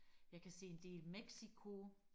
jeg kan se en del Mexico